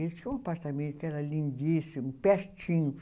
Ele tinha um apartamento que era lindíssimo, pertinho.